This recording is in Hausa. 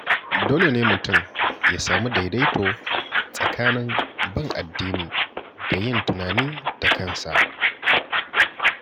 Dole ne mutum ya sami daidaito tsakanin bin addini da yin tunani da kansa.